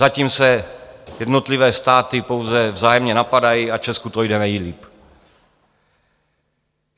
Zatím se jednotlivé státy pouze vzájemně napadají a Česku to jde nejlíp.